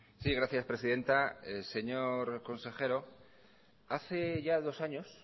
sí gracias presidenta señor consejero hace ya dos años